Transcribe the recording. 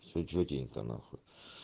че тётенька нахуй